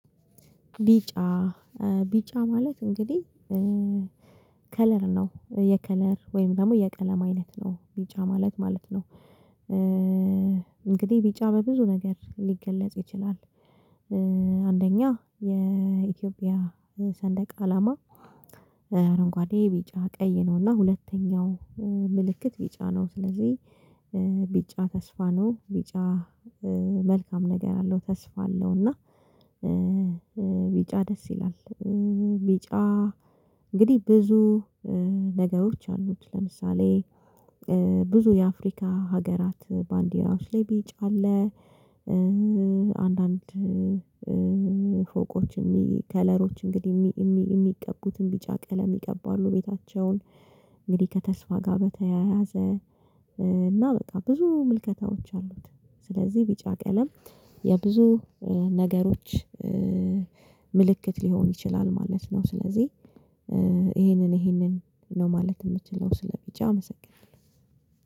ቢጫ ቢጫ ማለት እንግዲህ ከለር ነው የከለር ወይም ደግሞ የቀለም አይነት ነው ቢጫ ማለት ማለት ነው። እንግዲህ ቢጫ በብዙ ነገር ሊገለጽ ይችላል። አንደኛ የኢትዮጵያ ሰንደቅ አላማ አረንጓዴ ቢጫ ቀይ ነውና ሁለተኛው ምልክት ቢጫ ነው። ስለዚህ ቢጫ ተስፋ ነው ቢጫ መልካም ነገር አለው ተስፋ አለው። እና ቢጫ ደስ ይላል። ቢጫ እንግዲህ ብዙ ነገሮች አሉት ለምሳሌ ብዙ የአፍሪካ ሀገራት ባንዲራ ውስጥ ላይ ቢጫ አለ። አንዳንድ ፎቆች ከለሮች እንግዲህ የሚቀቡትን ቢጫ ቀለም ይቀባሉ ቤታቸውን። እንግዲህ ከተስፋ ጋር በተያያዘ እና በቃ ብዙ ምልከታዎች አሉት። ስለዚህ ቢጫ ቀለም የብዙ ነገሮች ምልክት ሊሆን ይችላል ማለት ነው። ስለዚህ ይሄንን ይሄንን ነው ማለት የምችለው ስለቢጫ አመሰግናለሁ።